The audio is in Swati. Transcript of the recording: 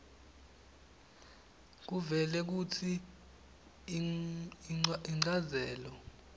kuvele kutsi inchazelo